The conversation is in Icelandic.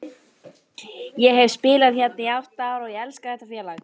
Ég hef spilað hérna í átta ár og ég elska þetta félag.